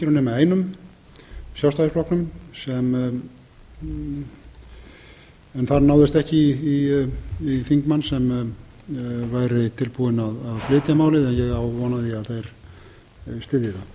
nema einum sjálfstæðisflokknum en þar náðist ekki í þingmann sem væri tilbúinn að flytja málið ég á þó von á því að þeir styðji